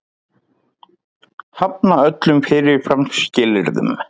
Hafna öllum fyrirfram skilyrðum